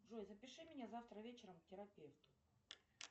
джой запиши меня завтра вечером к терапевту